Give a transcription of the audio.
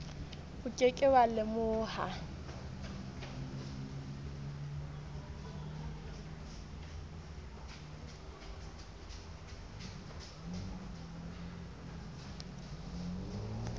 o ke ke wa lemoha